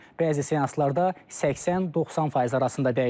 Bəzi seanslarda 80-90% arasında dəyişir.